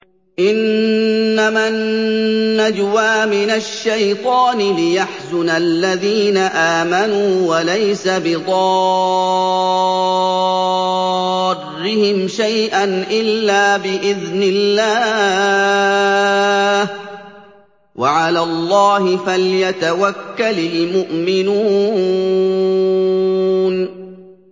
إِنَّمَا النَّجْوَىٰ مِنَ الشَّيْطَانِ لِيَحْزُنَ الَّذِينَ آمَنُوا وَلَيْسَ بِضَارِّهِمْ شَيْئًا إِلَّا بِإِذْنِ اللَّهِ ۚ وَعَلَى اللَّهِ فَلْيَتَوَكَّلِ الْمُؤْمِنُونَ